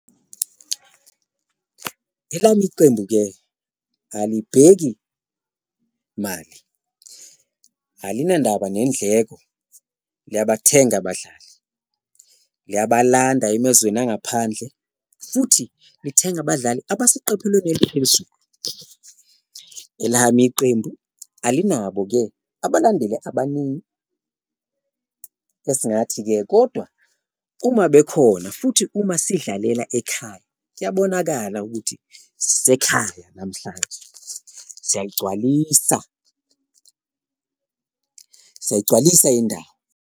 Elami iqembu-ke alibheki mali, alinandaba nendleko liyabathenga abadlali, liyabalanda emezweni angaphandle futhi lithenga abadlali abaseqophelweni eliphezulu, elami iqembu alinabo-ke abalandeli abaningi esingathi-ke. Kodwa uma bekhona futhi uma sidlalela ekhaya kuyabonakala ukuthi sisekhaya namhlanje siyayigcwalisa, siyayigcwalisa indawo.